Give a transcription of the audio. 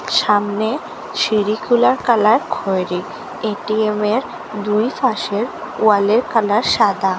সামনে সিঁড়িগুলার কালার খয়েরি এটিএময়ের দুই পাশের ওয়ালের কালার সাদা।